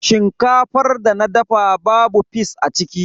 Shinkafar da na dafa babu fis a ciki.